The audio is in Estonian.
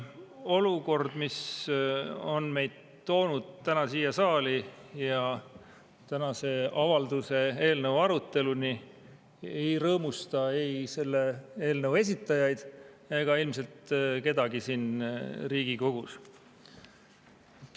Olukord, mis on meid toonud täna siia saali ja tänase avalduse eelnõu aruteluni, ei rõõmusta ei selle eelnõu esitajaid ega ilmselt kedagi siin Riigikogus.